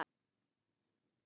Jesús, María og Jósef!